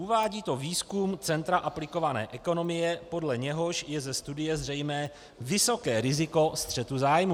Uvádí to výzkum Centra aplikované ekonomie, podle něhož je ze studie zřejmé vysoké riziko střetu zájmů.